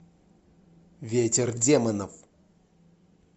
ветер демонов